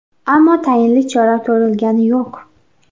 Ammo tayinli chora ko‘rilgani yo‘q.